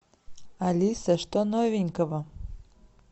алиса что новенького